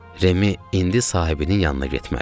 Remi indi sahibinin yanına getməlidir.